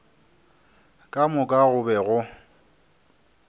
ka moka go be go